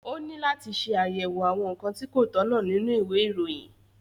Ó ní láti ṣe àyẹ̀wò àwọn nǹkan tí kò tọ̀nà nínú ìwé ìròyìn